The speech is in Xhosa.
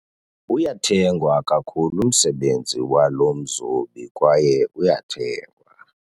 Uyathengwa kakhulu umsebenzi walo mzobi kwaye uyathengwa.